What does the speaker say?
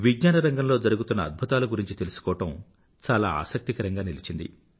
విజ్ఞాన రంగంలో జరుగుతున్న అద్భుతాల గురించి తెలుసుకోవడం చాలా ఆసక్తికరంగా నిలిచింది